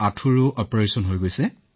ঠিক আছে আপোনাৰ অনুভৱ কামত আহিল